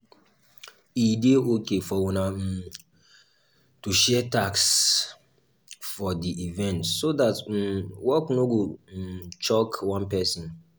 e dey okay for una um to share tasks for di event so that um work no go um choke one person